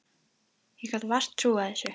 Ég gat vart trúað þessu.